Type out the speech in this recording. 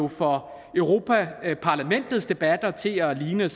får europa parlamentets debatter til at ligne